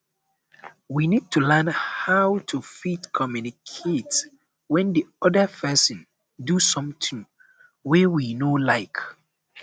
we need to learn how to fit communicate when di oda person do something wey we no like